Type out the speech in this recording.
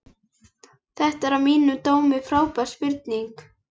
Þetta er að mínum dómi frábær spurning.